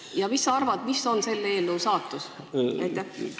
Ja mis sa arvad, milline on selle eelnõu saatus?